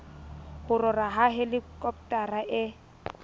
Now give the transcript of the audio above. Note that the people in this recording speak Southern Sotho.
ho rora ha helikopotara e